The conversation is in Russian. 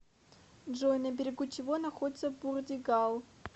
джой на берегу чего находится бурдигал